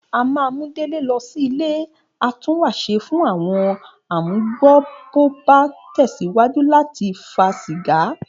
A máa mú Délé lọ sí ilé atúnwàṣe fún àwo̩n amugbó bó bá tẹ̀síwájú láti fa sìgá